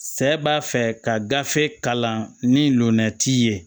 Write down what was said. Sɛ b'a fɛ ka gafe kalan ni nɔnna t'i ye